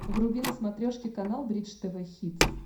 вруби на смотрешке канал бридж тв хитс